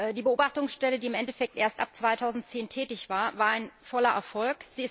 Die Beobachtungsstelle, die im Endeffekt erst ab 2010 tätig war, war ein voller Erfolg.